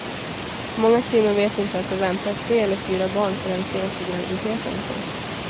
Många kvinnor vet inte att de väntar tre eller fyra barn förrän sent i graviditeten. punkt